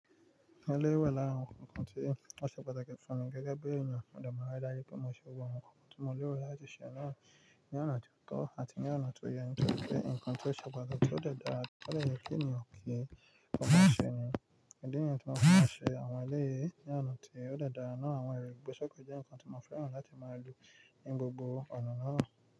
Ẹlẹ́yìí wàlára awon nkan tí ó ṣe pàtàkì fún mi gẹ́gẹ́ bí èèyàn mọ dè màá ri dáju pé mo ṣe gbogbo awon nkan, tí mo lèrọ̀ láti ṣe àná ní oná tió tọ́ àti ní àná tó yẹn nítorí pé nǹkan tí ó ṣe pàtàkì tó dára, tó dè yé kí eniyan ki ọ mọ sẹ́ ni, ìdí niyẹn tí mọ́ fi máa n ṣe àwọn ẹlẹ́yìí ní oná tió dè dára náà àwọn ẹrí gbogbo sọ̀kọ̀ jẹ́ nǹkan tí mo fẹ́ràn láti máa lu ní gbogbo ọ̀nà náà.